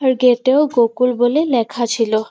এতে একটা গোকুল বলে লেখা ছিল ।